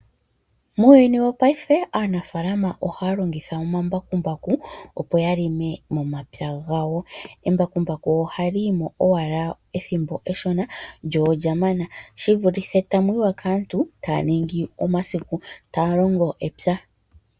Muuyuni wopaife aanafaalama ohaya longitha omambakumbaku, opo ya lime momapya gawo. Embakumbaku ohali yimo owala ethimbo efupi lyo olyamana, shivulithe tamu yiwa kaantu taya ningi omasiku taya longo epya.